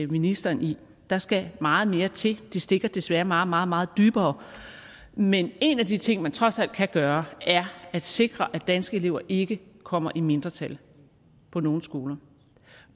ministeren i der skal meget mere til det stikker desværre meget meget meget dybere men en af de ting man trods alt kan gøre er at sikre at danske elever ikke kommer i mindretal på nogen skoler